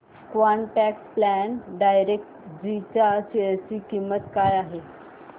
quant tax plan direct G च्या share ची किंमत काय आहे